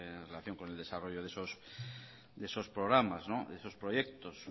en relación con el desarrollo de esos programas de esos proyectos